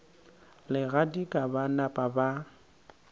le kgadika ba napa ba